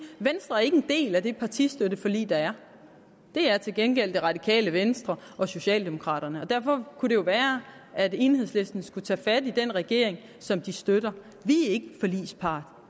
at venstre ikke er en del af det partistøtteforlig der er det er til gengæld det radikale venstre og socialdemokraterne og derfor kunne det jo være at enhedslisten skulle tage fat i den regering som de støtter vi er ikke en forligspart